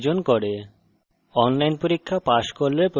কথ্য tutorials ব্যবহার করে কর্মশালার আয়োজন করে